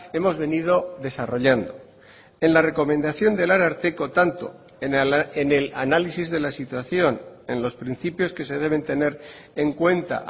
hemos venido desarrollando en la recomendación del ararteko tanto en el análisis de la situación en los principios que se deben tener en cuenta